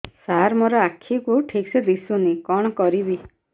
ସାର ମୋର ଆଖି କୁ ଠିକସେ ଦିଶୁନି କଣ କରିବି